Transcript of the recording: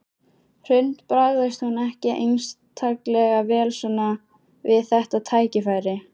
Hrund: Bragðast hún ekki einstaklega vel svona við þetta tækifæri?